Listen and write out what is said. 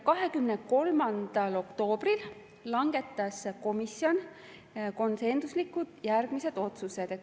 23. oktoobril langetas komisjon konsensuslikult järgmised otsused.